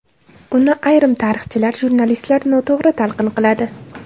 Uni ayrim tarixchilar, jurnalistlar noto‘g‘ri talqin qiladi.